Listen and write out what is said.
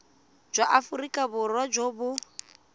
jwa aforika borwa jo bo